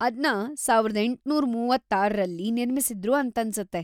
ಅದ್ನ ಸಾವಿರದ ಎಂಟುನೂರ ಮೂವತ್ತಾರರಲ್ಲಿ ನಿರ್ಮಿಸಿದ್ರು ಅಂತನ್ಸತ್ತೆ.